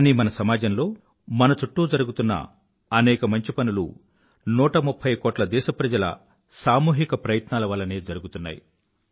కానీ మన సమాజంలో మన చుట్టూ జరుగుతున్న అనేక మంచి పనులు 130కోట్ల దేశప్రజల సాముహిక ప్రయాసల వల్లనే జరుగుతున్నాయి